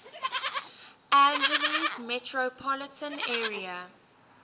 angeles metropolitan area